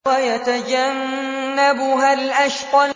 وَيَتَجَنَّبُهَا الْأَشْقَى